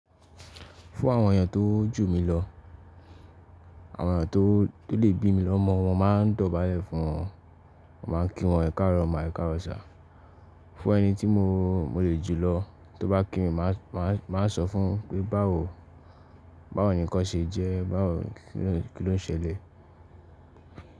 Fún àwọn èèyàn tó jù mí lọ, àwọn èèyàn tó lè bí mi lọmọ, mo máa ń dọ̀bálẹ̀ fún wọn, mo máa ń kí wọn ẹ ká'rọ̀ mà ẹ ká'rọ̀ sir Fún ẹni tí mo lè jù lọ, tó bá kí mi, màá sọ fún un pé báwo ni nkán ṣe jẹ́, báwo ni kí ló ń ṣẹlẹ̀.